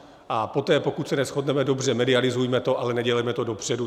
A poté, pokud se neshodneme, dobře, medializujme to, ale nedělejme to dopředu.